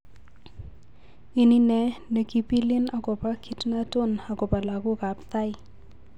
Ini ne nekipilin akopa kitnaton agopa lagok ap Thai